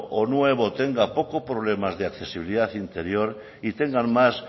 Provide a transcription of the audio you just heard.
o nuevo tenga pocos problemas de accesibilidad interior y tengan más